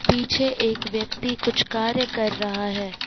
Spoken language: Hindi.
पीछे एक व्यक्ति कुछ कार्य कर रहा है।